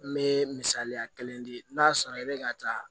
N bɛ misaliya kelen di n'a sɔrɔ i bɛ ka taa